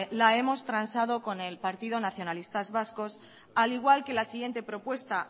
la hemos transado con el partido nacionalista vasco al igual que la siguiente propuesta